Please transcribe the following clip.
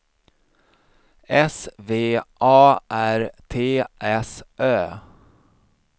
S V A R T S Ö